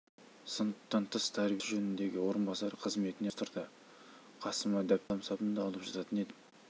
сыныптан тыс тәрбие ісі жөніндегі орынбасары қызметіне ауыстырады қасыма дәптерім мен қаламсабымды алып жататын едім